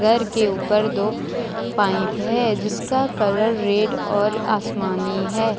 घर के ऊपर दो पाइप है जिसका कलर रेड और आसमानी है।